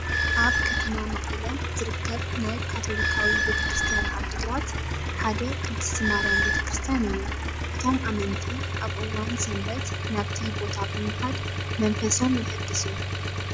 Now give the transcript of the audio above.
ኣብ ከተማ መቐለ ዝርከብ ናይ ካቶሊካዊ ቤተክርስቲያን ዓዲግራት ሓደ ቅድስቲ ማርያም ቤተክርስቲያን እዩ። እቶም ኣመንቲ ኣብ እዋን ሰንበት ናብቲ ቦታ ብምኻድ መንፈሶም የህድሱ።